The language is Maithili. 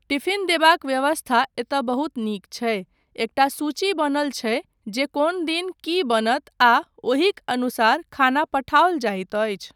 टिफ़िन देबाक व्यवस्था एतय बहुत नीक छै, एकटा सूची बनल छै जे कोन दिन की बनत आ ओहिक अनुसार खाना पठाओल जाइत अछि।